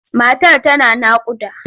Matar tana naƙuda.